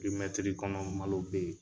Pɛrimɛtiri kɔnɔ malo bɛ yen.